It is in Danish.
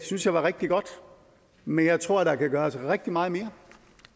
synes jeg var rigtig godt men jeg tror der kan gøres rigtig meget mere